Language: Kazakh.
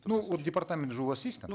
ну вот департамент же у вас есть там